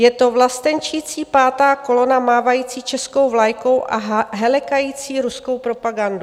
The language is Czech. Je to vlastenčící pátá kolona mávající českou vlajkou a halekající ruskou propagandu.